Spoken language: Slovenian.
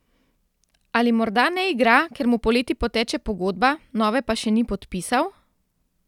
Ali morda ne igra, ker mu poleti poteče pogodba, nove pa še ni podpisal?